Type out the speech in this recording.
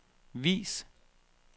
vis